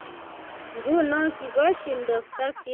Nguno kikoshindos Turkey, Russia ak Syria .